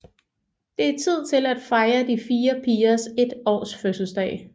Det er tid til at fejre de fire pigers 1 års fødselsdag